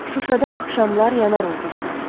Şuşada axşamlar yanar ulduzlar.